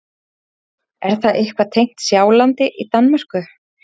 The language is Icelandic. Er það eitthvað tengt Sjálandi í Danmörku?